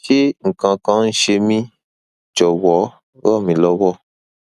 ṣé nǹkan kan ń ṣe mí jọwọ ràn mí lọwọ